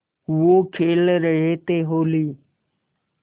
वो खेल रहे थे होली